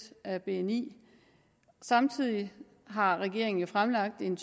af bni samtidig har regeringen jo fremlagt en